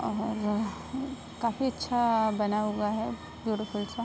और काफी अच्छा बना हुआ है ब्यूटीफुल सा।